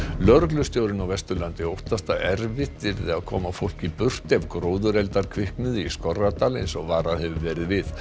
lögreglustjórinn á Vesturlandi óttast að erfitt yrði að koma fólki burt ef gróðureldar kviknuðu í Skorradal eins og varað hefur verið við